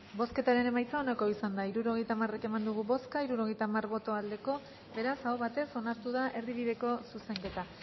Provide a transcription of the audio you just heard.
bozketaren emaitza onako izan da hirurogeita hamar eman dugu bozka hirurogeita hamar boto aldekoa beraz aho batez onartu da erdibideko zuzenketa